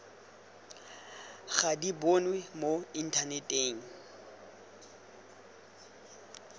ga di bonwe mo inthaneteng